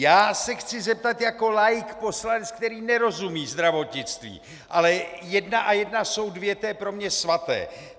Já se chci zeptat jako laik, poslanec, který nerozumí zdravotnictví, ale jedna a jedna jsou dvě, to je pro mě svaté.